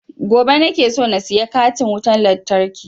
Gobe nake so na saya katin wutan lantarkin